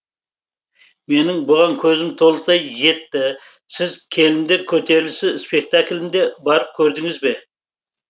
менің бұған көзім толықтай жетті сіз келіндер көтерілісі спектакльне барып көрдіңіз бе